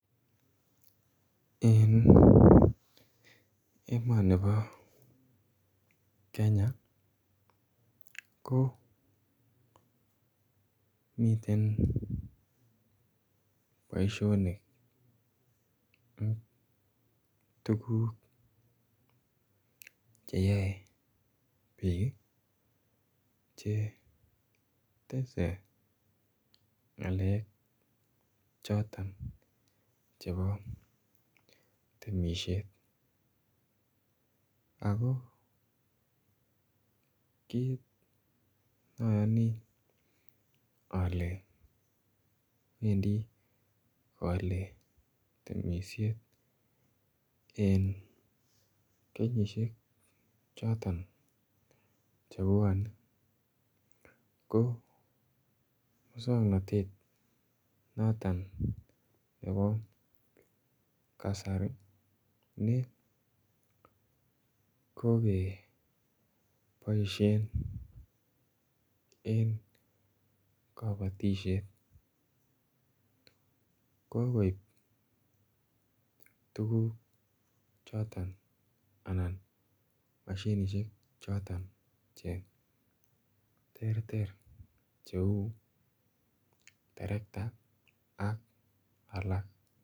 Eng emani nibo Kenya ko miten boisionik ak tuguuk che yae biik che tese ngalek chotoon chebo temisiet ako kiit mayani ale Wendi kowale temisiet eng kenyisiek chotoon che bwanei ko musangnatet notoon nebo kasari ne kole boisien eng kabatisyeet kokoib tuguuk chotoon anan mashinisheek che terter che [tractor] ak alaak.